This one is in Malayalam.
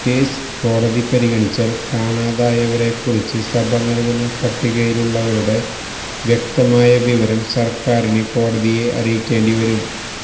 കേസ് കോടതി പരിഗണിച്ചാല് കാണാതായവരെക്കുറിച്ച് സഭ നല്കുന്ന പട്ടികയിലുള്ളവരുടെ വ്യക്തമായ വിവരം സര്ക്കാരിന് കോടതിയെ അറിയിക്കേണ്ടിവരും